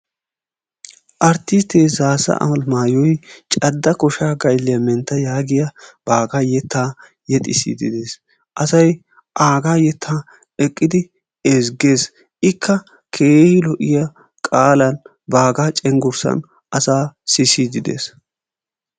Arttisttee Zaassa Alamaayoy ''cadda koshaa gaylliya mentta'' yaagiya baagaa yettaa yexissiiddi dees. Asay yettaa aagaa eqqidi ezggees. Ikka keehi lo"iya qaalan, cenggurssan asaa sissiiddi dees.